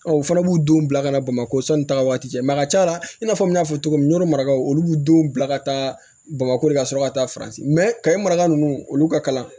u fana b'u denw bila ka na bamakɔ sanni taga waati cɛ a ka ca la i n'a fɔ n y'a fɔ cogo min n'o y'o maraw olu b'u denw bila ka taa bamakɔ de ka sɔrɔ ka taa faransi kaye maraka ninnu olu ka kalan